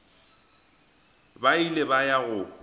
ba ile ba ya go